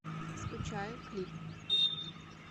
скучаю клип